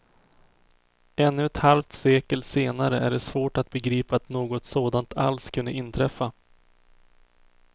Ännu ett halvt sekel senare är det svårt att begripa att något sådant alls kunde inträffa.